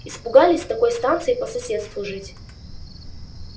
испугались с такой станцией по соседству жить